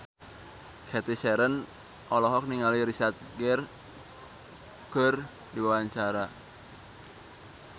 Cathy Sharon olohok ningali Richard Gere keur diwawancara